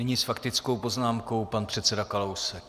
Nyní s faktickou poznámkou pan předseda Kalousek.